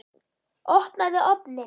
Opnaðu ofninn!